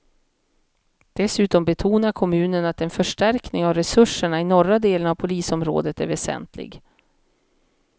Dessutom betonar kommunen att en förstärkning av resurserna i norra delen av polisområdet är väsentlig.